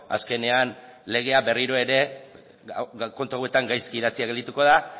azkenean legea berriro ere kontu hauetan gaizki idatzia gelditu da